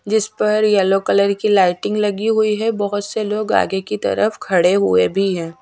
जिस पर yellow colour की लाइटिंग लगी हुई है बोहोत से लोग आगे की तरफ खड़े हुए भी हैं।